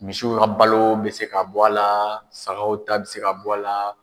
Misiw ka balo be se ka bɔ a la, sagaw ta bɛ se ka bɔ a la